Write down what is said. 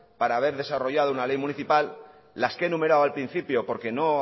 para haber desarrollado una ley municipal las que he numerado al principio porque no